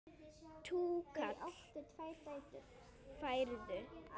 Túkall færðu!